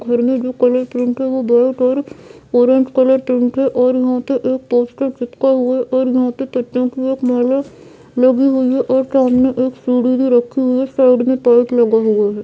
घर में भी कलर पेंट है वो वॉल पर ऑरेंज कलर पेंट है और वहां पर एक पोस्टर चिपका हुआ और वहां पे पटना लगी हुई है और सामने एक रखी हुई है साइड में लगे हुए हैं।